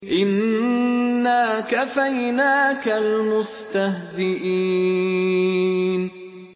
إِنَّا كَفَيْنَاكَ الْمُسْتَهْزِئِينَ